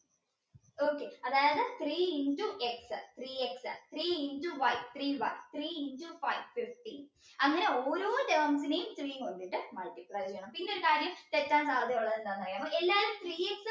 okay അതായത് three into x three x three into y three y three into five fifteen അങ്ങനെ ഓരോ terms നെയും three കൊണ്ടിട്ട് multiply ചെയ്യണം പിന്നെ ഒരു കാര്യം തെറ്റാൻ സാധ്യതയുള്ളത് എന്താന്ന് അറിയാമോ എല്ലാരും